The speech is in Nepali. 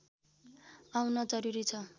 आउन जरूरी छ